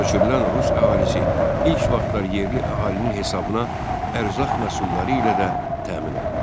Köçürülən rus əhalisi ilk vaxtlar yerli əhalinin hesabına ərzaq məhsulları ilə də təmin olundu.